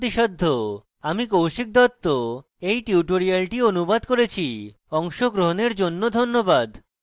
আমি কৌশিক দত্ত এই টিউটোরিয়ালটি অনুবাদ করেছি অংশগ্রহনের জন্য ধন্যবাদ